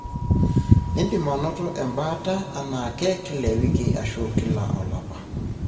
indim anoto embaata enaake, kila ewiki ashu kila olapa.